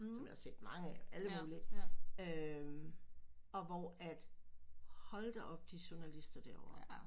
Dem har jeg set mange af alle mulige øh og hvor at hold da op de journalister derovre